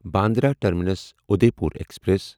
Bandra terminus Udaipur express